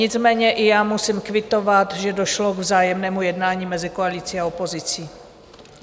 Nicméně i já musím kvitovat, že došlo k vzájemnému jednání mezi koalicí a opozicí.